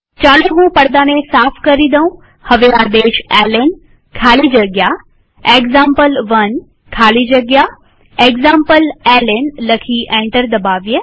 ચાલો હું પડદાને સાફ કરી દઉંહવે આદેશ એલએન ખાલી જગ્યા એક્ઝામ્પલ1 ખાલી જગ્યા એક્ઝામ્પલેલ્ન લખી એન્ટર દબાવીએ